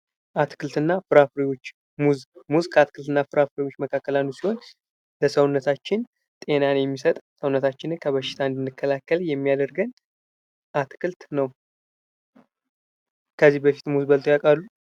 አትክልት እና ፍራፍሬዎች ሙዝ ሙዝ ከአትክልት እና ፍራፍሬዎች መካከል አንዱ ሲሆን ለሰውነታችን ጤናን የሚሰጥ ሰውነታችንን ከበሽታ እንድንከላከል የሚያደርገን አትክልት ነው። ከዚህ በፊት ሙዝ በልተው ያውቃሉ?